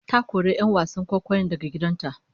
Ta kori 'yan wasan kwaikwayon daga gidan ta